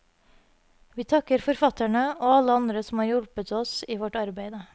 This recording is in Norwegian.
Vi takker forfatterne og alle andre som har hjulpet oss i vårt arbeide.